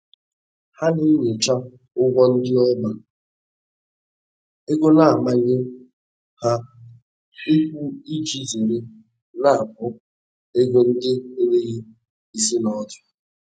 Ha na-enyocha ụgwọ ndị ọba ego na-amanye ha ịkwụ iji zere nnapụ ego ndị enweghi isi na ọdụ.